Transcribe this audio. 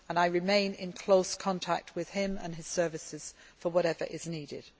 I remain in close contact with him and his services for whatever is needed.